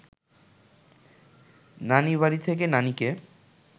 নানিবাড়ি থেকে নানিকে